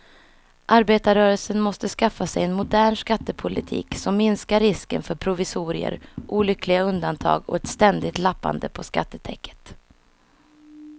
Arbetarrörelsen måste skaffa sig en modern skattepolitik som minskar risken för provisorier, olyckliga undantag och ett ständigt lappande på skattetäcket.